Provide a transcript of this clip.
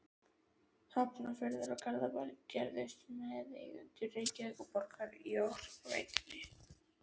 Hafnarfjörður og Garðabær gerðust meðeigendur Reykjavíkurborgar í Orkuveitu